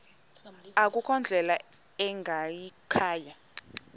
akukho ndlela ingayikhaya